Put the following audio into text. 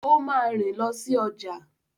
O máa rìn lọ si ọjà.